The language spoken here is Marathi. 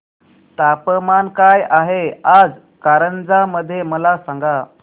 तापमान काय आहे आज कारंजा मध्ये मला सांगा